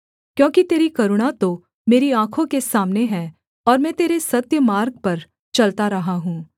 क्योंकि तेरी करुणा तो मेरी आँखों के सामने है और मैं तेरे सत्य मार्ग पर चलता रहा हूँ